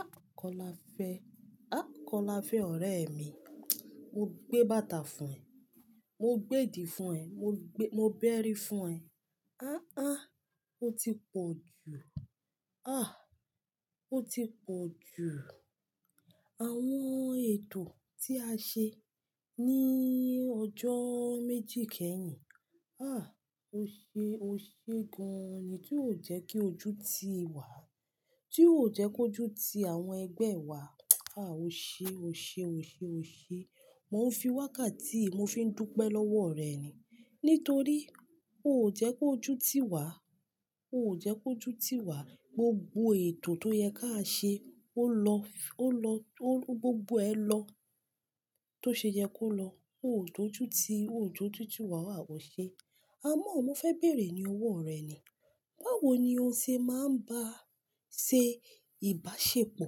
Ah! Kọ́lá fẹ́, ah! Kọ́lá fẹ́ ọ̀rẹ́ mi. Mo gbé bàtà fún ẹ, mo gbé èdì fún ẹ, mo gbé, mo bẹ́rí fún ẹ. Ah, ah! Ó ti pọ̀ jù. Ah! Ó ti pọ̀ jù. Àwọn ètò tí a ṣe ní ọjọ́ méjì kẹ́yìn, ah! O ṣe, o ṣe gan-an ni. Tí ó jẹ́ kí ojú ti ì wá, tí ó jẹ́ kí ojú ti àwọn ẹgbẹ́ wa, ah! O ṣe, o ṣe, o ṣe, o ṣe. Mo fi wákàtí, mo fi ń dúpẹ́ lọ́wọ́ ọ̀rẹ́ mi. Nítorí ó jẹ́ kó jú ti ì wá, ó jẹ́ kó jú ti ì wá. Gbogbo ètò tó yẹ ká ṣe ó lọ, ó lọ, tó, gbogbo ẹ lọ tó ṣe yẹ kó lọ. Ó ò tó jú ti, ò tó jú ti ì wá, à ò ṣe. Àmọ́ mo fẹ́ bèrè ní owó rẹ́ mi. Báwo ni o ṣe máa ń bá ṣe ìbáṣepọ̀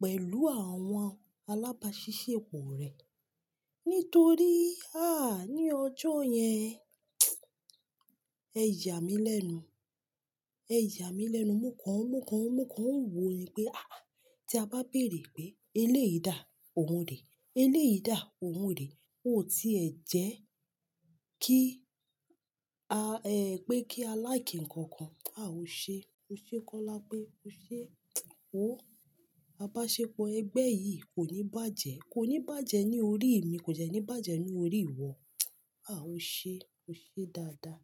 pẹ̀lú àwọn alábáṣiṣepọ̀ rẹ? Nítorí, ah! Ní ọjọ́ yẹn, ẹ yà mí lẹ́nu. Ẹ jà mí lẹ́nu. Mo kàn, mo kàn, mo kàn ń wò ni pé, ah! Tí a bá bèrè pé eléyìí dà, òun rè. Eléyìí dà, òun rè. Ó ti ẹ̀ jẹ́ kí a, ẹ pé kí a lack nǹkan kan. Ah! O ṣe, o ṣe kólápé o ṣe, oh! Abaṣepọ̀ ẹgbẹ́ yìí kò ní bàjẹ́, kò ní bàjẹ́ ní orí mi, kò dẹ́ ní bàjẹ́ ní orí ì wọ. Ah! O ṣe, o ṣe dáadáa.